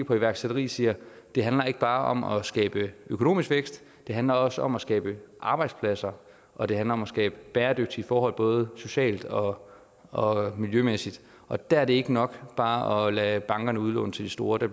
på iværksætteri siger det handler ikke bare om at skabe økonomisk vækst det handler også om at skabe arbejdspladser og det handler om at skabe bæredygtige forhold både socialt og og miljømæssigt og der er det ikke nok bare at lade bankerne udlåne til de store der